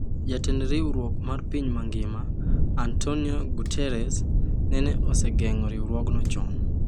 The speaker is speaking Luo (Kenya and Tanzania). Jatend Riwruok mar Pinje Mangima, Antonio Guterres nene osegeng'o riwruogno chon.